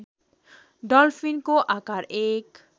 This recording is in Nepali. डल्फिनको आकार १